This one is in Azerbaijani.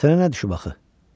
Sənə nə düşüb axı?